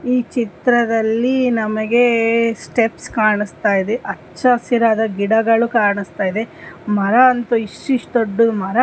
ಈ ಚಿತ್ರದಲ್ಲಿ ನಮಗೆ ಸ್ಟೆಪ್ಸ್ ಕಾಣಿಸ್ತಾ ಇದೆ ಹಚ್ಚ ಹಸಿರಾದ ಗಿಡಗಳು ಕಾಣಿಸ್ತಾ ಇದೆ ಮರ ಅಂತು ಇಸ್ಟ ಇಸ್ಟ ದೊಡ್ಡು ಮರ್‌ --